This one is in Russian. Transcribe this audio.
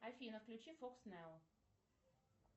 афина включи фокс нео